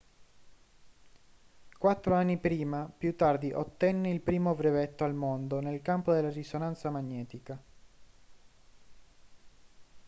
quattro anni più tardi ottenne il primo brevetto al mondo nel campo della risonanza magnetica